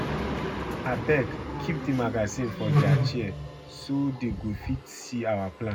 Abeg keep the magazine for their chair so dey go fit see our plan